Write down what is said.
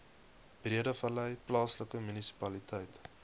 breedevallei plaaslike munisipaliteit